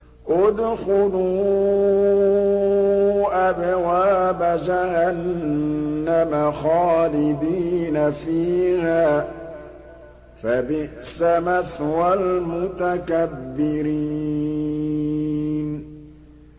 ادْخُلُوا أَبْوَابَ جَهَنَّمَ خَالِدِينَ فِيهَا ۖ فَبِئْسَ مَثْوَى الْمُتَكَبِّرِينَ